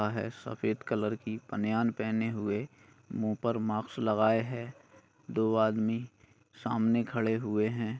बह सफेद कलर की बनियान पहने हुए मुँह पर मास्क लगाए हैं दो आदमी सामने खड़े हुए है।